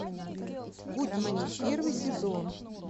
гудини первый сезон